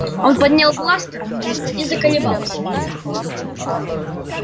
он поднял бластер и заколебался